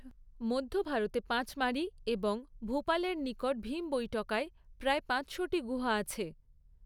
মধ্য ভারতে পাঁচমারি এবং ভূপালের নিকট ভীম বৈটকায় প্রায় পাঁচশোটি গুহা আছে।